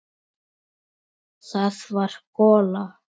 Það var gola.